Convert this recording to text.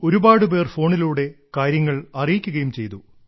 ഒരുപാട് പേർ ഫോണിലൂടെ കാര്യങ്ങൾ അറിയിക്കുകയും ചെയ്തു